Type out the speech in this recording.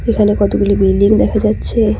এখানে কতগুলি বিল্ডিং দেখা যাচ্ছে।